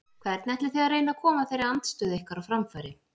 Hvernig ætlið þið að reyna að koma þeirri andstöðu ykkar á framfæri?